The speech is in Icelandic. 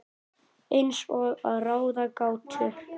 Eins og að ráða gátu.